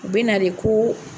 U be na de ko